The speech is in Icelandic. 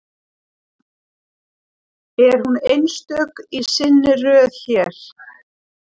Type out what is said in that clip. Er hún einstök í sinni röð hér?